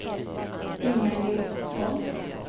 Inga-Lill Von